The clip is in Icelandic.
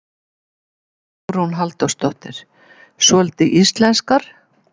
Hugrún Halldórsdóttir: Svolítið íslenskar?